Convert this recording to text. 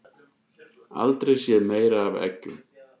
Aldrei séð meira af eggjum